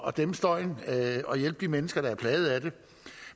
at dæmpe støjen og hjælpe de mennesker der er plaget af den